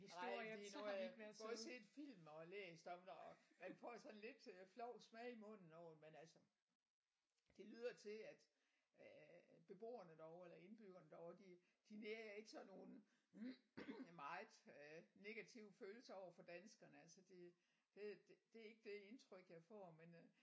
Nej det er noget af har både set film og læst om det og man får sådan lidt øh flov smag i munden over det men altså det lyder til at øh beboerne derovre eller indbyggerne derovre de de nærer ikke sådan nogen meget øh negative følelser overfor danskerne altså det det det er ikke det indtryk jeg får men øh